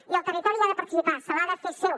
i el territori hi ha de participar se l’ha de fer seu